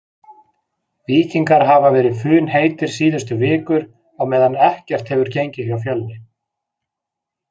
Víkingar hafa verið funheitir síðustu vikur á meðan ekkert hefur gengið hjá Fjölni.